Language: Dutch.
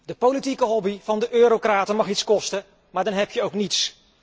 De politieke hobby van de Eurocraten mag iets kosten, maar dan heb je ook niets.